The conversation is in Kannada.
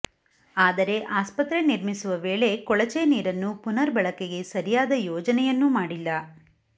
ಆದರೆ ಆಸ್ಪತ್ರೆ ನಿರ್ಮಿಸುವ ವೇಳೆ ಕೊಳಚೆ ನೀರನ್ನು ಪುನರ್ ಬಳಕೆಗೆ ಸರಿಯಾದ ಯೋಜನೆಯನ್ನೂ ಮಾಡಿಲ್ಲ